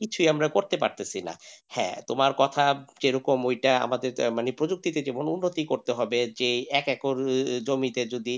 কিছুই আমরা করতে পারতেছি না হ্যাঁ তোমার কথা যেরকম ওইটা আমাদের প্রযুক্তি উন্নতি করতে হবে যে এক একর জমিতে যদি,